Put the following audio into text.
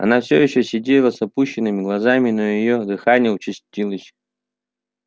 она все ещё сидела с опущенными глазами но её дыхание участилось